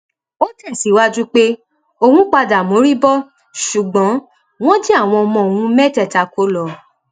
ó tẹsíwájú pé òun padà mórí bọ ṣùgbọn wọn jí àwọn ọmọ òun mẹtẹẹta kó lọ